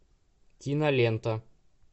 кинолента